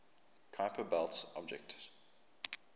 kuiper belt objects